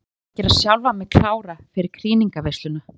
Ég þarf að gera sjálfa mig klára fyrir krýningarveisluna.